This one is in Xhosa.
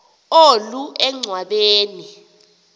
olu enchwa beni